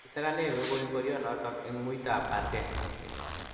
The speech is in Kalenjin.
kisakane gogoe ngorionoto eng' muitab arte